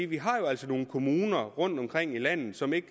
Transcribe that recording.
vi har jo altså nogle kommuner rundtomkring i landet som ikke